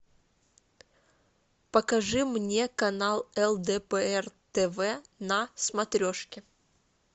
покажи мне канал лдпр тв на смотрежке